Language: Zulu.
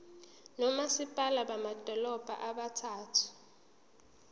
nomasipala bamadolobha abathathu